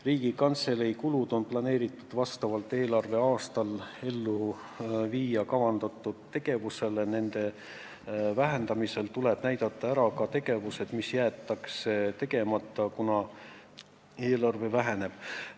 Riigikantselei kulud on järgmisel eelarveaastal plaanis kasutada juba kavandatud tegevusele, nende vähendamisel tuleb ära näidata tegevused, mis jäetakse tegemata, kuna eelarve väheneb.